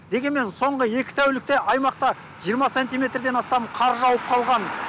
дегенмен соңғы екі тәулікте аймақта жиырма сантиметрден астам қар жауып қалған